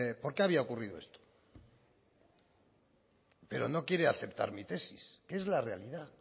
por qué había ocurrido esto pero no quiere aceptar mi tesis que es la realidad